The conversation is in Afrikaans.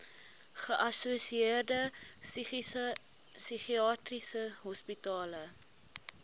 geassosieerde psigiatriese hospitale